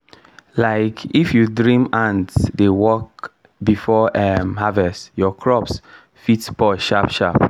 um if you dream ants dey work before um harvest your crops fit spoil sharp-sharp